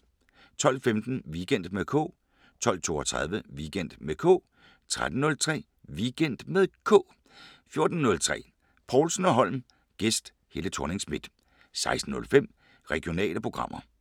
12:15: Weekend med K 12:32: Weekend med K 13:03: Weekend med K 14:03: Povlsen & Holm: Gæst Helle Thorning Schmidt 16:05: Regionale programmer